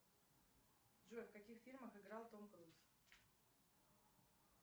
джой в каких фильмах играл том круз